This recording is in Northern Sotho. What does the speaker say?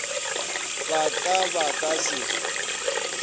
ba ka ba ka se